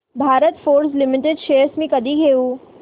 Bharat Forge Limited shares मी कधी घेऊ